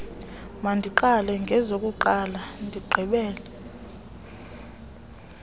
mandiqale ngezokuqala ndigqibele